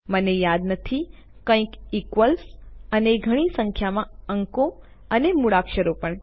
મને નામ યાદ નથી કંઈક ઇક્વ્લ્સ અને ઘણી સંખ્યામાં અંકો અને મૂળાક્ષરો પણ